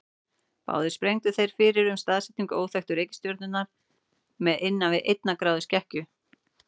Báðir spáðu þeir fyrir um staðsetningu óþekktu reikistjörnunnar með innan við einnar gráðu skekkju.